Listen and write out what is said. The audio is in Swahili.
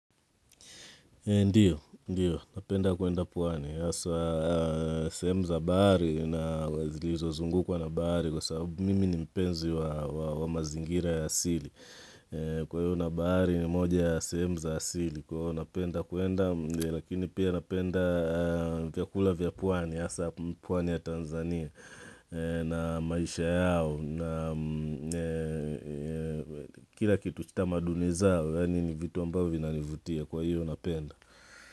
Ndio, ndio, napenda kwenda pwani sehemu za bahari na zilizo zungukwa na bahari kwa sababu mimi mpenzi wa mazingira ya asili. Kwa hiyo na bahari ni moja ya sehemu za asili, kwa hivyo napenda kuenda, lakini pia napenda vyakula vyapwani, asa pwani ya Tanzania na maisha yao. Kila kitu sitamaduni zao, yani ni vitu ambavyo vina nivutia kwa hiyo napenda.